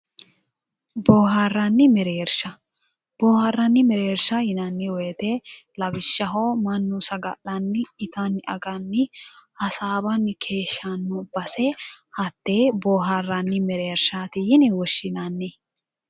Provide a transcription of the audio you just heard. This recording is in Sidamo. Boohaarranni mereersha bohaarranni mereersha yinanni woyite lawishaho mannu saga'lanni itanni aganni hasaawanni keeshanno base hattee boohaarranni mereershaati yine woshinanni